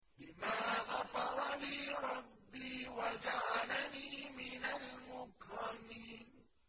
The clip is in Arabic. بِمَا غَفَرَ لِي رَبِّي وَجَعَلَنِي مِنَ الْمُكْرَمِينَ